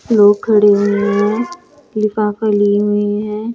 लोग खड़े हुए हैं। लिफाफ़ा लिए हुए है।